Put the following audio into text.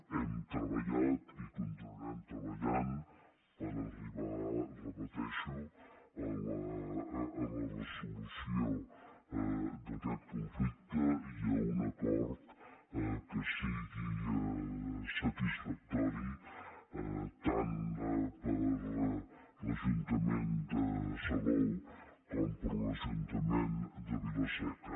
hem treballat i continuarem treballant per arribar ho repeteixo a la resolució d’aquest conflicte i a un acord que sigui satisfactori tant per a l’ajuntament de salou com per a l’ajuntament de vila seca